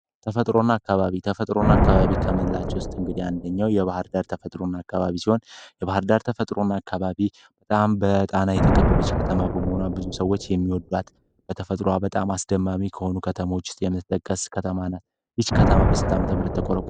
ተፈጥሮና አካባቢ ተፈጥሮና አካባቢ ከመላው የባህር ዳር ተፈጥሮን አካባቢ ሲሆን የባህር ዳር ተፈጥሮ አካባቢ የተቀበለች ከተማ ብዙ ሰዎች የሚወዷት በተፈጥሮ በጣም አስደማሚ ከሆኑ ከተሞች ውስጥ ከተመለከተ ይች ከተማ በስንት ዓ.ም ተቆረቆረች